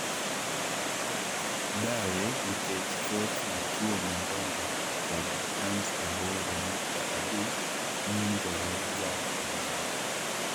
Dawe, nikech thoth vituo mandongo kod tans aboro nukta abich ng'injore ga eyamo.